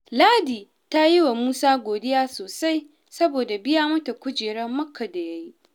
Ladi ta yi wa Musa godiya sosai saboda biya mata kujerar Makka da ya yi